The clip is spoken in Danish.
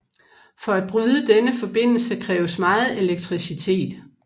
For at bryde denne forbindelse kræves meget elektricitet